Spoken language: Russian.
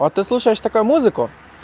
а ты слушаешь такую музыку